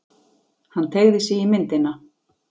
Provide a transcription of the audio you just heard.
Hann teygði sig í myndina.